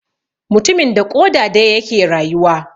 Mutumin da ƙoda daya yake rayuwa.